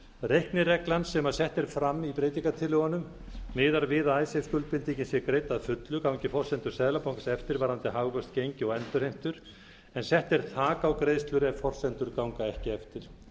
reiknireglan sem sett er fram í breytingartillögunum miðar við að skuldbindingin sé greidd að fullu gangi forsendur seðlabankans eftir varðandi hagvöxt gengi og endurheimtur en sett er þak á greiðslur ef forsendur ganga ekki eftir